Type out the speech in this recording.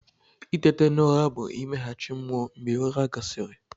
Itete n'ụra bụ imeghachi mmụọ mgbe ụra gasịrị.